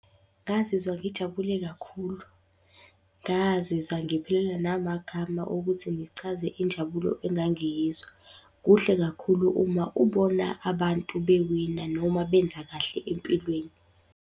Ngazizwa ngijabule kakhulu, ngazizwa ngiphelelwa namagama okuthi ngichaze injabulo engangiyizwa. Kuhle kakhulu uma ubona abantu bewina noma benza kahle empilweni.